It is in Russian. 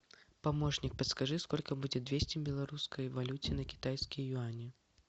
помощник подскажи сколько будет двести в белорусской валюте на китайские юани